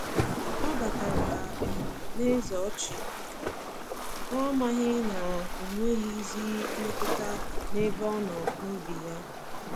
Ọ batara um n'eze ọchị, na-amaghị na onweghizi mmetụta n'ebe ọnọ n’obi ya.